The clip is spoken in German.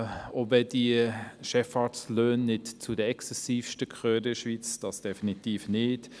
In der Schweiz gehören Chefarztlöhne nicht zu den exzessivsten Löhnen – definitiv nicht!